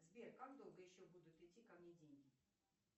сбер как долго еще будут идти ко мне деньги